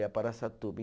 Ia para Araçatuba.